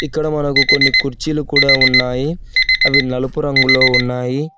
ఇక్కడ మనకు కొన్ని కుర్చీలు కూడా ఉన్నాయి అవి నలుపు రంగులో ఉన్నాయి.